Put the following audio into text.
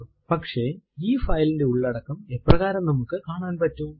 പക്ഷെ ഈ ഫൈൽ ന്റെ ഉള്ളടക്കം എപ്രകാരം നമുക്ക് കാണാൻ പറ്റും